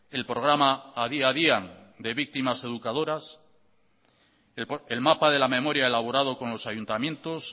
el programa adi adian de víctimas educadoras el mapa de la memoria elaborado con los ayuntamientos